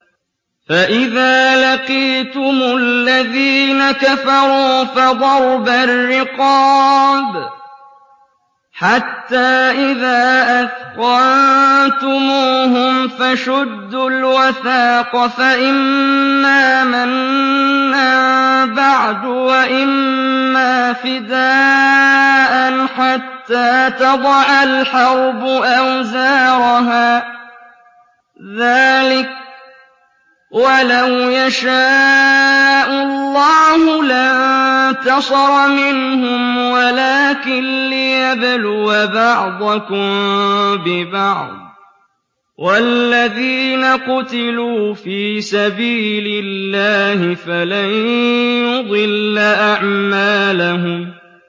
فَإِذَا لَقِيتُمُ الَّذِينَ كَفَرُوا فَضَرْبَ الرِّقَابِ حَتَّىٰ إِذَا أَثْخَنتُمُوهُمْ فَشُدُّوا الْوَثَاقَ فَإِمَّا مَنًّا بَعْدُ وَإِمَّا فِدَاءً حَتَّىٰ تَضَعَ الْحَرْبُ أَوْزَارَهَا ۚ ذَٰلِكَ وَلَوْ يَشَاءُ اللَّهُ لَانتَصَرَ مِنْهُمْ وَلَٰكِن لِّيَبْلُوَ بَعْضَكُم بِبَعْضٍ ۗ وَالَّذِينَ قُتِلُوا فِي سَبِيلِ اللَّهِ فَلَن يُضِلَّ أَعْمَالَهُمْ